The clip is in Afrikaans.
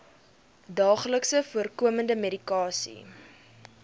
daagliks voorkomende medikasie